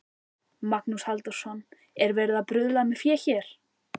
Magnús Halldórsson: Er verið að bruðla með fé hér?